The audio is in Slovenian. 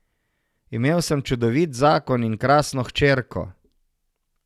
Imel sem čudovit zakon in krasno hčerko.